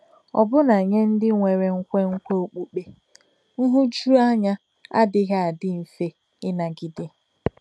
Ọbụna nye ndị nwere nkwenkwe okpukpe, nhụjuanya adịghị adị mfe ịnagide.